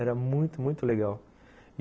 Era muito, muito legal.